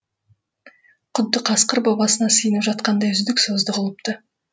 құдды қасқыр бабасына сиынып жатқандай үздік создық ұлыпты